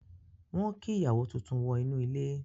Wọ́n kí ìyàwó tuntun wọ inú ilé.